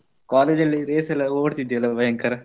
College ಅಲ್ಲಿ race ಎಲ್ಲ ಓಡ್ತಿದ್ಯಲ್ಲ ಭಯಂಕರ.